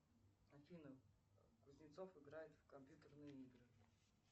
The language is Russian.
афина кузнецов играет в компьютерные игры